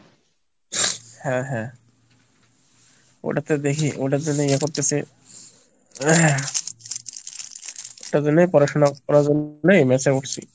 হ্যাঁ হ্যাঁ ওটাতে দেখি ওটার জন্য ইয়ে করতেছে ওটার জন্যই পড়াশোনা করার জন্যই mesh এ উঠছি।